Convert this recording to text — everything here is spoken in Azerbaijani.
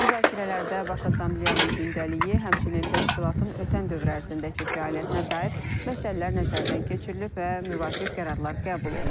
Müzakirələrdə baş Assambleyanın gündəliyi, həmçinin təşkilatın ötən dövr ərzindəki fəaliyyətinə dair məsələlər nəzərdən keçirilib və müvafiq qərarlar qəbul olunub.